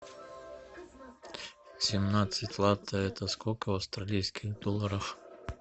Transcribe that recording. семнадцать лат это сколько в австралийских долларах